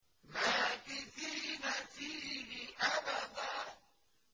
مَّاكِثِينَ فِيهِ أَبَدًا